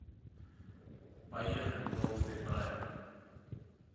поехали толстый фраер